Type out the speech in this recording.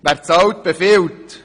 Wer zahlt, befiehlt.